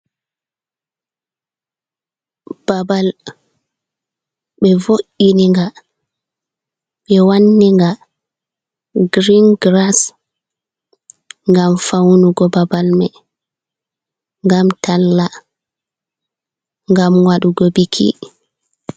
Babal, ɓe vo’iniga ɓe wanninga girin giras, ngam faunugo babal mai, ngam talla, ngam wadugo biki.